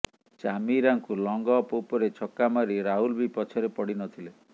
ଚାମିରାଙ୍କୁ long off ଉପରେ ଛକା ମାରି ରାହୁଲ ବି ପଛରେ ପଡ଼ିନଥିଲେ